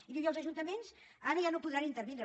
i diu i els ajuntaments ara ja no podran intervindre